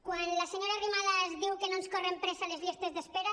quan la senyora arrimadas diu que no ens corren pressa les llistes d’espera